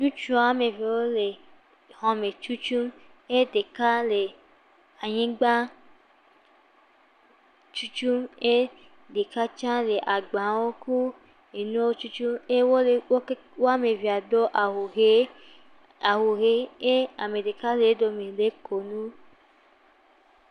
Ŋutsu woame eve wole xɔ tutum eye ɖeka le anyigba tutum eye ɖeka tsɛ le agbawo kple enuwo tutum eye wole, woame eveawo do awu ɣie eye ame ɖeka le wodome he kɔ nu.